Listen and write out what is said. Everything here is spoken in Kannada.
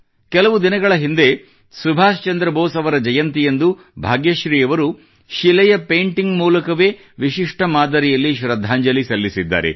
ಕೆಲವು ದಿನಗಳ ಹಿಂದೆ ಸುಭಾಷ್ ಚಂದ್ರ ಬೋಸ್ ಅವರ ಜಯಂತಿಯಂದು ಭಾಗ್ಯಶ್ರೀ ಅವರು ಶಿಲೆಯ ಪೇಂಟಿಂಗ್ ಮೂಲಕವೇ ವಿಶಿಷ್ಟ ಮಾದರಿಯಲ್ಲಶ್ರದ್ಧಾಂಜಲಿ ಸಲ್ಲಿಸಿದ್ದಾರೆ